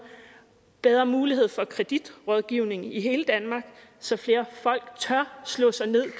bedre mulighed for kreditrådgivning i hele danmark så flere folk tør slå sig ned